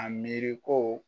A miiri ko